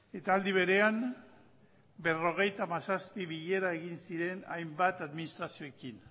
eta aldi berean berrogeita hamazazpi bilera egin ziren hainbat administrazioekin